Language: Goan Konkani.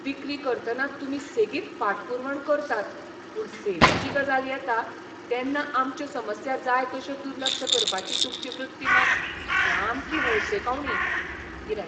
विक्री करतना तुमी सेगीत फाटपुरवण करतात पूण सेवेची गजाल येता तेन्ना आमच्यो समस्या जाय तश्यो दुर्लक्ष करपाची तुमची वृत्ती मात सामकी हळशिकावणी. गिरायक